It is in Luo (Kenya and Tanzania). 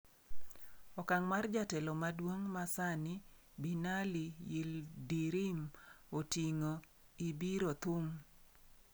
Okang' mar jatelo maduong', ma sani Binali Yildirim oting'o, ibiro thum.